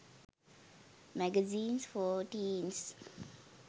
magazines for teens